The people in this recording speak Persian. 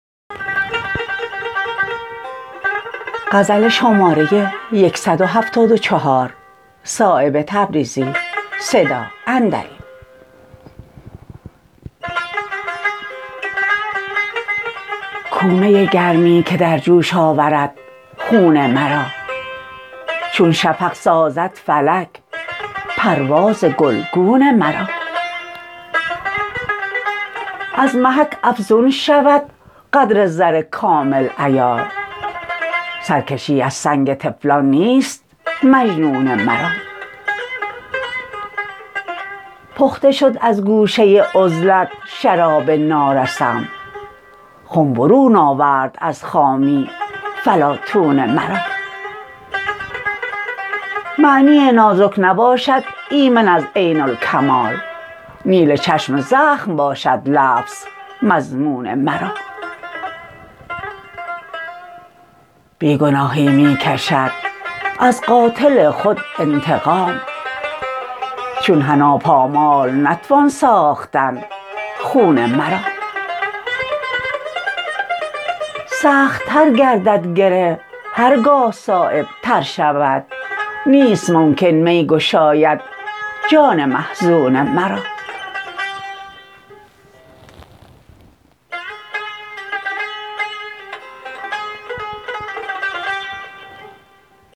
کو می گرمی که در جوش آورد خون مرا چون شفق سازد فلک پرواز گلگون مرا از محک افزون شود قدر زر کامل عیار سرکشی از سنگ طفلان نیست مجنون مرا پخته شد از گوشه عزلت شراب نارسم خم برون آورد از خامی فلاطون مرا معنی نازک نباشد ایمن از عین الکمال نیل چشم زخم باشد لفظ مضمون مرا بی گناهی می کشد از قاتل خود انتقام چون حنا پامال نتوان ساختن خون مرا سخت تر گردد گره هرگاه صایب تر شود نیست ممکن می گشاید جان محزون مرا